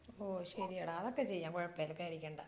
ഓ ശരിയെട അതൊക്കെ ചെയാം കൊഴപ്പമില്ല പേടിക്കണ്ട.